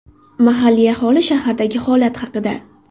Mahalliy aholi shahardagi holat haqida.